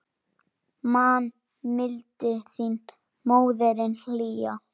Man mildi þína, móðirin hlýja.